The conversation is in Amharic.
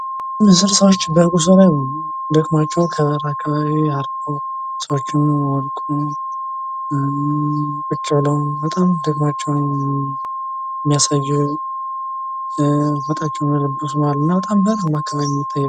ብዙ ሰዎች በጉዞ ደክመው እያረፉ የሚያሳይ ምስል ሲሆን ፎጣ ለብሰው የወደቁም አሉ።